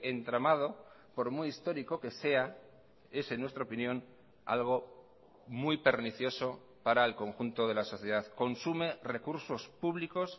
entramado por muy histórico que sea es en nuestra opinión algo muy pernicioso para el conjunto de la sociedad consume recursos públicos